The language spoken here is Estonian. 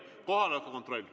Kohaloleku kontroll.